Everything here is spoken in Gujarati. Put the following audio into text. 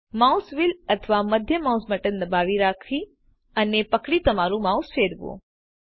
માઉસ વ્હીલ અથવા મધ્યમ માઉસ બટન દબાવી અને પકડી તમારું માઉસ ફરવો